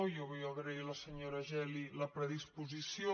jo vull agrair a la senyora geli la predispo·sició